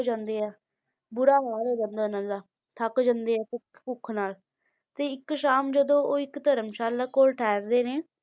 ਜਾਂਦੇ ਹੈ, ਬੁਰਾ ਹਾਲ ਹੋ ਜਾਂਦਾ ਇਹਨਾਂ ਦਾ, ਥੱਕ ਜਾਂਦੇ ਹੈ, ਭੁੱਖ ਭੁੱਖ ਨਾਲ, ਤੇ ਇੱਕ ਸ਼ਾਮ ਜਦੋਂ ਉਹ ਇੱਕ ਧਰਮਸ਼ਾਲਾ ਕੋਲ ਠਹਿਰਦੇ ਨੇ,